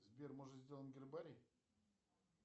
сбер может сделаем гербарий